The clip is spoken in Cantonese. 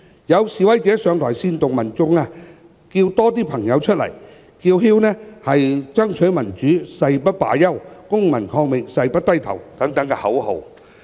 有示威者上台煽動民眾"叫多些朋友出來"，又叫喊"爭取民主，誓不罷休、公民抗命，誓不低頭"等口號。